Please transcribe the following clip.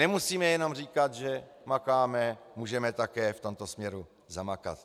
Nemusíme jenom říkat, že makáme, můžeme také v tomto směru zamakat.